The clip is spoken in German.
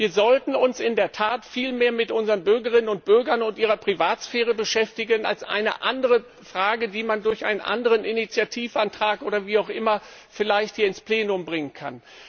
Wir sollten uns in der Tat viel mehr mit unseren Bürgern und Bürgerinnen und ihrer Privatsphäre beschäftigen, als mit dieser anderen Frage, die man durch einen anderen Initiativantrag oder wie auch immer vielleicht hier ins Plenum bringen kann.